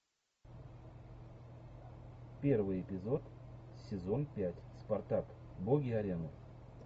первый эпизод сезон пять спартак боги арены